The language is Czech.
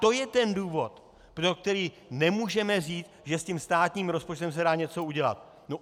To je ten důvod, pro který nemůžeme říct, že s tím státním rozpočtem se dá něco udělat.